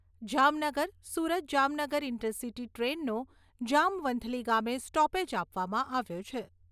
Jamnagar Surat Jamnagar intercity ટ્રેનનો જામવંથલી ગામે stoppage આપવામાં આવ્યો છે.